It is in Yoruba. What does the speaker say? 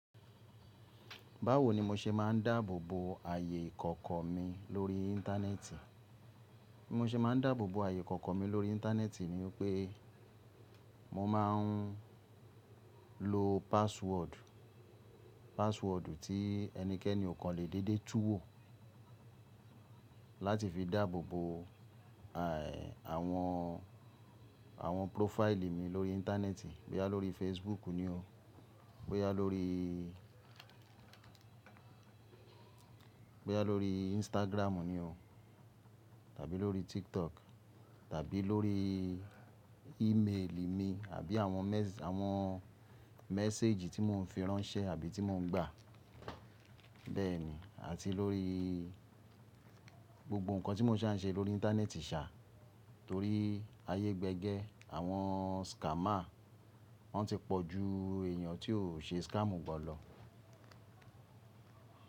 Báwo ni mo se máa ń dáàbò bo ààyè kọ̀ọ̀kan mi lórí íńtánẹ́ẹ̀tì? Bí mo se máa ń dáàbò bo ààyè kọ̀ọ̀kon mi lórí íńtánẹ́ẹ̀tì ni pé mo máa ń lo password, password tí ẹnikẹ́ni o kàn lè dédé túwò láti fi dáàbò bo, àwọn, àwọn profile mi lórí íńtánẹ́ẹ̀tì. Bóyá lórí Facebook ni o, bóyá lóríí, bóyá lórí Instagram ni o tàbí lórí TikTok tàbí lórí email mi àbí àwọn àwọn message tí mo ń fi ránṣẹ́ àbí tí mo ń gbà. Bẹ́ẹ̀ ni, àti lórí gbogbo nǹkan tí mo ṣà ń ṣe lórí íńtánẹ́ẹ̀tì ṣà, torí ayé gbegẹ, àwọn scammer wọ́n ti pọ̀ ju èèyàn tó ń ṣe scam gan lọ.